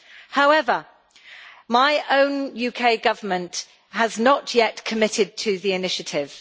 However, my own UK Government has not yet committed to the initiative.